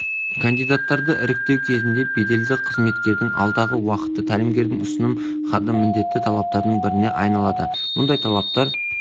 кандидаттарды іріктеу кезінде беделді қызметкердің алдағы уақытта тәлімгердің ұсыным хаты міндетті талаптардың біріне айналады мұндай талаптар